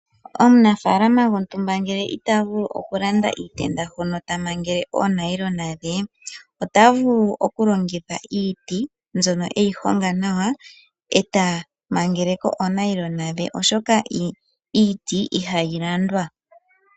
Omunafaalama gwontumba ngele ita vulu okulanda iitenda hono ta mangele oonailona dhe, ota vulu okulongitha iiti, mbyono e yi honga nawa ndele ta mangele ko oonailona dhe, oshoka iiti ihayi landwa.